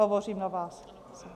Hovořím na vás.